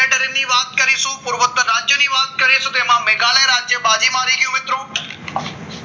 ની વાત કરીશું પૂર્વતા રાજ્યની વાત વાત કરીશું તેમાં મેઘાલય રાજ્ય બાજિ મારી ગયું મિત્રો